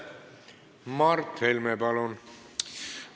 Mart Helme, palun!